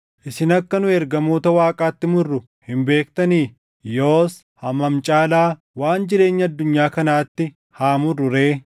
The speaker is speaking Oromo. Isin akka nu ergamoota Waaqaatti murru hin beektanii? Yoos hammam caalaa waan jireenya addunyaa kanaatti haa murru ree?